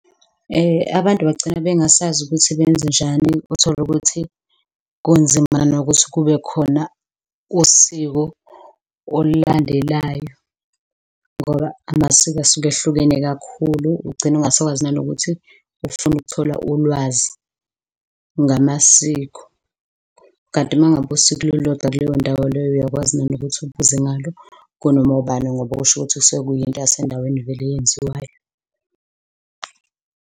Abantu bagcina bengasazi ukuthi benze njani, utholukuthi kunzima nokuthi kubekhona usiko olulandelayo ngoba amasiko asuke ehlukene kakhulu, ugcine ungasakwazi nanokuthi ufuna ukuthola ulwazi ngamasiko. Kanti ma ngabe usiko lulodwa kuleyo ndawo leyo, uyakwazi nanokuthi ubuze ngalo kunoma ubani ngoba kusho ukuthi kusuke kuyinto yasendaweni vele eyenziwayo.